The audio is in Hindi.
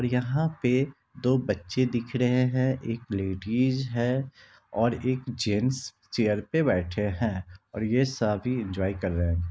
यहाँ पे दो बच्चे दिख रहे हैं एक लेडीज है और एक जेंट्स चेयर पर बैठे है और ये सभी एन्जॉय कर रहे हैं।